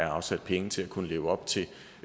afsat penge til at kunne leve op til